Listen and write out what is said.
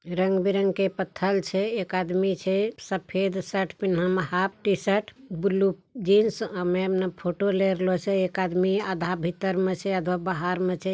रंग-बिरंग के पत्थल छे एक आदमी छे सफ़ेद शर्ट पहने half t-shirt blue jeans photo ले लोरलो छे एक आदमी आधा भीतर में छे आधा बाहर में छे।